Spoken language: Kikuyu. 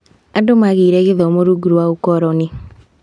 Andũ magĩire gĩthomo rungu rwa ũkoroni.